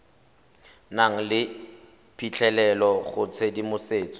nang le phitlhelelo go tshedimosetso